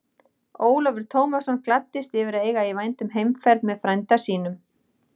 Ólafur Tómasson gladdist yfir að eiga í vændum heimferð með frænda sínum.